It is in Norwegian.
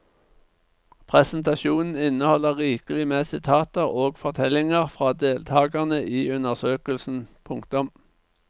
Presentasjonen inneholder rikelig med sitater og fortellinger fra deltagerne i undersøkelsen. punktum